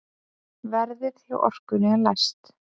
Verðið hjá Orkunni er lægst.